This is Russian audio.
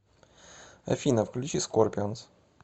афина включи скорпионс